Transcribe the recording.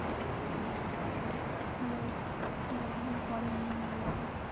Hello এই কথাগুলো পরে এমনি বলা যাবে.